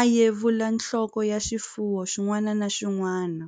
a yevula nhloko ya xifuwo xin'wana na xin'wana.